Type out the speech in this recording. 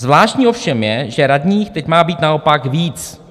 Zvláštní ovšem je, že radních teď má být naopak víc.